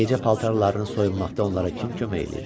Gecə paltarlarını soyunmaqda onlara kim kömək eləyir?